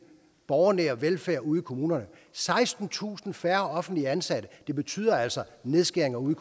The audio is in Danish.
borgernære velfærd ude i kommunerne sekstentusind færre offentligt ansatte betyder altså nedskæringer ude